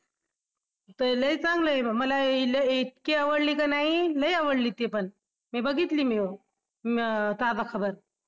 ती लई चांगली आहे मला इतकी आवडली का नाही लई आवडली ती पण मी बघितली अं ताजा खबर